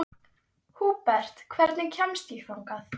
Húbert, hvernig kemst ég þangað?